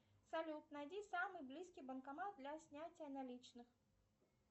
салют найди самый близкий банкомат для снятия наличных